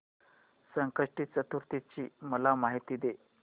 संकष्टी चतुर्थी ची मला माहिती दे